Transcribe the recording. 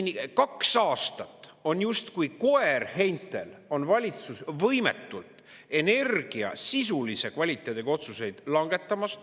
Kaks aastat on justkui koer heintel valitsus võimetult energia sisulise kvaliteediga otsuseid langetama.